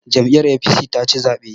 Jam'iyyar APC taci zaɓen.